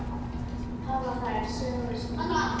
Hafa þær sögur skemmt mörgum.